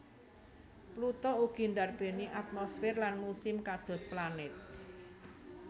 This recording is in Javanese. Pluto ugi ndarbèni atmosfer lan musim kados planet